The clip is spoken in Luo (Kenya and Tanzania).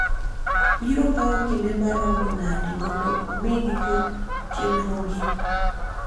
biro kawo kinde maromo nade mondo omi gichop chenrogi?